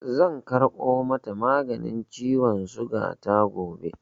Zan karɓo mata maganin ciwon suga ta gobe.